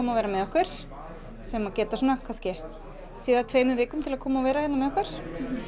að vera með okkur sem geta þá séð af tveimur vikum til að vera með okkur